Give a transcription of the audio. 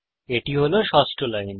এটি হল ষষ্ঠ লাইন